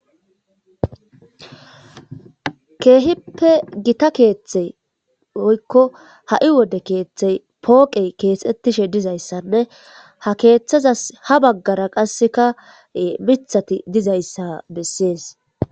Kehippe gitta kethe woyiko hai wode kethe poqeyi kexetishe dizayisanee ha kethazas habagara qaseka mithati dizaysa beses